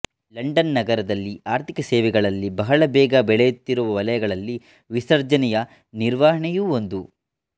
London ನಗರದಲ್ಲಿ ಆರ್ಥಿಕ ಸೇವೆಗಳಲ್ಲಿ ಬಹಳ ಬೇಗ ಬೆಳೆಯುತ್ತಿರುವ ವಲಯಗಳಲ್ಲಿ ವಿಸರ್ಜನೆಯ ನಿರ್ವಹಣೆಯೂ ಒಂದು